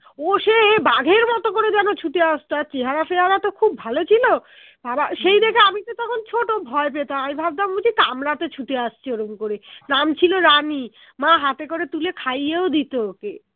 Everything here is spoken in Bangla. ও সে বাঘের মতো করে যেন ছুটে আসতো আর চেহারা ফেয়ারা তো খুব ভালো ছিল আবার সেই দেখে আমিতো তখন ছোট ভয় পেতাম আমি ভাবতাম বুঝি কামড়াতে ছুটে আসছে ওরকম করে নাম ছিল রানী মা হাতে করে তুলে খাইয়েও দিতো ওকে